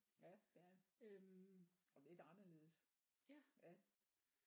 Ja det er det og lidt anderledes ja